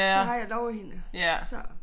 Det har jeg lovet hende så